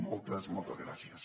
moltes moltes gràcies